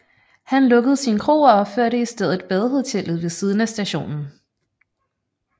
Han lukkede sin kro og opførte i stedet badehotellet ved siden af stationen